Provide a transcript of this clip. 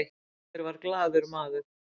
olgeir var glaður maður